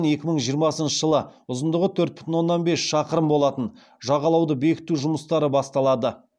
екі мың жиырмасыншы жылы ұзындығы төрт бүтін оннан бес шақырым болатын жағалауды бекіту жұмыстары басталады